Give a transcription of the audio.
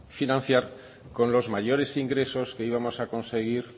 financiar con los mayores ingresos que íbamos a conseguir